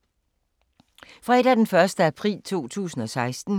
Fredag d. 1. april 2016